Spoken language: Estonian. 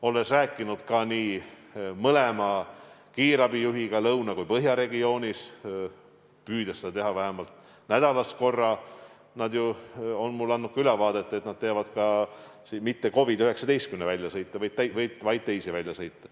Olen rääkinud mõlema kiirabijuhiga, nii lõuna- kui ka põhjaregioonis, püüan seda teha vähemalt nädalas korra, ja nad on andnud mulle ka ülevaate, et ei tee mitte ainult COVID-19 väljasõite, vaid teevad ka teisi väljasõite.